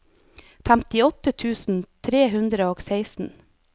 femtiåtte tusen tre hundre og seksten